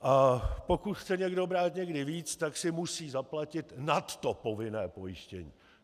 A pokud chce někdo brát někdy víc, tak si musí zaplatit nad povinné pojištění.